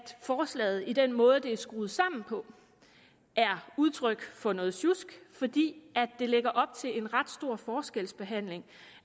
forslaget ved den måde det er skruet sammen på er udtryk for noget sjusk fordi det lægger op til en ret stor forskelsbehandling